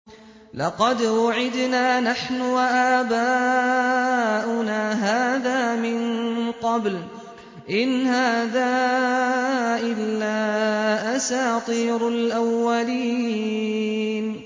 لَقَدْ وُعِدْنَا نَحْنُ وَآبَاؤُنَا هَٰذَا مِن قَبْلُ إِنْ هَٰذَا إِلَّا أَسَاطِيرُ الْأَوَّلِينَ